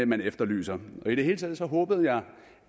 man efterlyser og i det hele taget håbede jeg